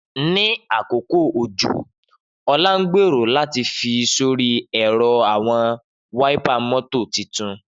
Ni akoko ojo, Ola ngbero lati fi sori ẹrọ awọn wáípà mọ́tò titun.